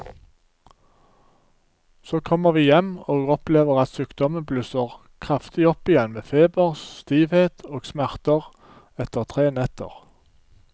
Så kommer vi hjem og opplever at sykdommen blusser kraftig opp igjen med feber, stivhet og smerter etter tre netter.